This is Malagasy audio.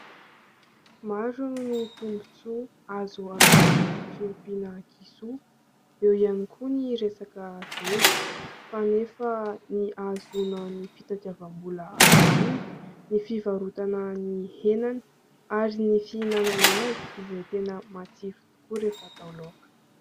Maro ny tombon-tsoa azo avy amin'ny fiompiana kisoa, eo ihany koa ny resaka zezika fa nefa ny ahazoana ny fitadiavam-bola avy aminy, ny fivarotana ny henany ary ny fihinanana azy izay tena matsiro tokoa rehefa atao laoka.